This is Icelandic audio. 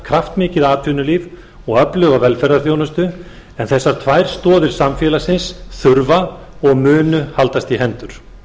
kraftmikið atvinnulíf og öfluga velferðarþjónustu en þessar tvær stoðir samfélagsins þurfa og munu haldast í hendur